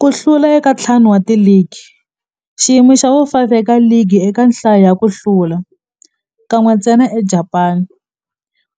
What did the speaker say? Ku hlula ka ntlhanu wa ligi xiyimo xa vu-5 eka ligi eka nhlayo ya ku hlula, kan'we ntsena eJapani